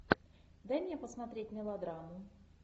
дай мне посмотреть мелодраму